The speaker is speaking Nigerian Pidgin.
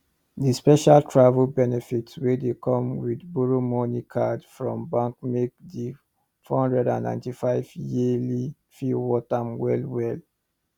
the special travel benefits wey come with borrow money card from bank make the 495 yearly fee worth am wellwell